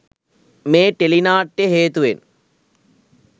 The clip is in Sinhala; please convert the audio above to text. මේ ටෙලිනාට්‍යය හේතුවෙන්